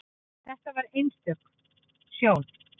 Þetta var einstök sjón.